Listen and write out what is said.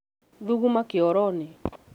thuguma kĩoro-inĩ